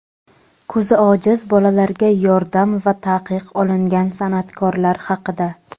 ko‘zi ojiz bolalarga yordam va taqiq olingan san’atkorlar haqida.